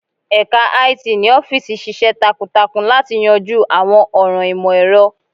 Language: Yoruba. Ẹka IT ni ọfiisi ṣiṣẹ takuntakun lati yanju awọn ọran imọ-ẹrọ.